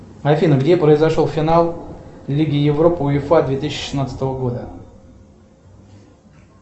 афина где произошел финал лиги европы уефа две тысячи шестнадцатого года